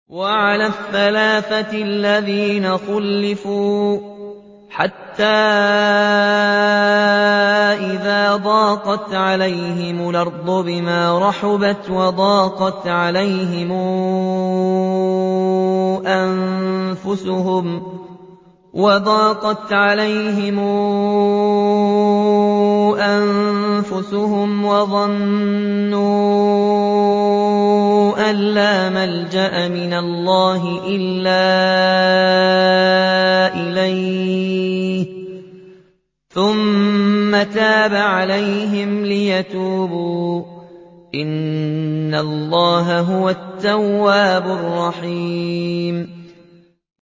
وَعَلَى الثَّلَاثَةِ الَّذِينَ خُلِّفُوا حَتَّىٰ إِذَا ضَاقَتْ عَلَيْهِمُ الْأَرْضُ بِمَا رَحُبَتْ وَضَاقَتْ عَلَيْهِمْ أَنفُسُهُمْ وَظَنُّوا أَن لَّا مَلْجَأَ مِنَ اللَّهِ إِلَّا إِلَيْهِ ثُمَّ تَابَ عَلَيْهِمْ لِيَتُوبُوا ۚ إِنَّ اللَّهَ هُوَ التَّوَّابُ الرَّحِيمُ